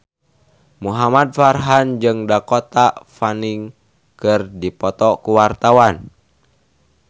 Muhamad Farhan jeung Dakota Fanning keur dipoto ku wartawan